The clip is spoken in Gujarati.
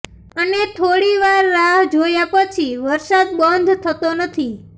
અને થોડી વાર રાહ જોયા પછી વરસાદ બંધ થતો નથી